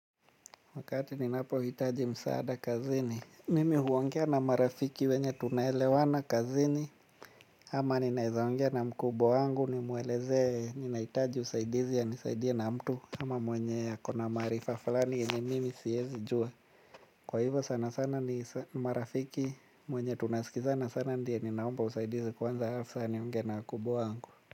Wakati ninapo hitaji msaada kazini, mimi huongea na marafiki wenye tunaelewana kazini ama ninaweza ongea na mkubwa wangu nimueleze, ninahitaji usaidizi anisaidia na mtu ama mwenye akona maarifa fulani yenye mimi siwezi jua. Kwa hivyo sana sana ni marafiki mwenye tunasikiza na sana ndiye ninaomba usaidizi kwanza alafu sasa niongee na mkubwa wangu.